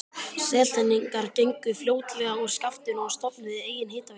Seltirningar gengu fljótlega úr skaftinu og stofnuðu eigin hitaveitu.